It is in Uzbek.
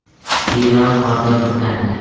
Xiva qorga burkandi.